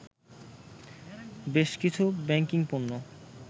বেশকিছু ব্যাংকিং পণ্য